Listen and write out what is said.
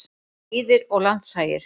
Lýðir og landshagir.